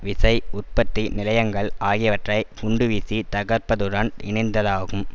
விசை உற்பத்தி நிலையங்கள் ஆகியவற்றை குண்டுவீசி தகர்ப்பதுடன் இணைந்ததாகும்